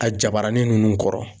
A jabaranin ninnu kɔrɔ.